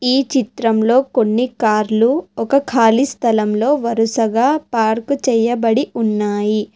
ఈ చిత్రంలో కొన్ని కార్లు ఒక కాళీ స్థలంలో వరుసగా పార్క్ చేయబడి ఉన్నాయి.